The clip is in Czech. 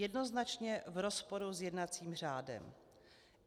Jednoznačně v rozporu s jednacím řádem.